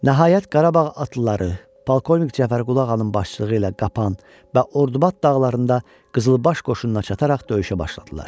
Nəhayət, Qarabağ atlıları polkovnik Cəfərqulu ağanın başçılığı ilə Qapan və Ordubad dağlarında qızılbaş qoşununa çataraq döyüşə başladılar.